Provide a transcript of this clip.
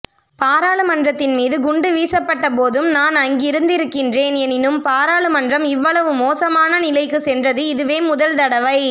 பாராளுமன்றத்தின் மீது குண்டுவீசப்பட்டபோதும் நான் அங்கிருந்திருக்கின்றேன் எனினும் பாராளுமன்றம் இவ்வளவு மோசமான நிலைக்கு சென்றது இதுவே முதல்தடவை